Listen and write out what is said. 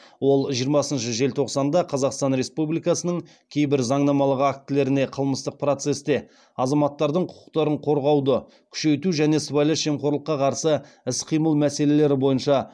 ол жиырмасыншы желтоқсанда қазақстан республикасының кейбір заңнамалық актілеріне қылмыстық процесте азаматтардың құқықтарын қорғауды күшейту және сыбайлас жемқорлыққа қарсы іс қимыл мәселелері бойынша